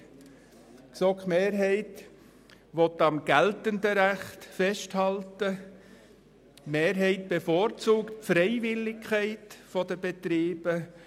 Die GSoK-Mehrheit will am geltenden Recht festhalten und bevorzugt die Freiwilligkeit für Betriebe.